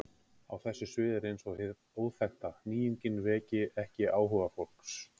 Á þessu sviði er eins og hið óþekkta, nýjungin, veki ekki áhuga fólks.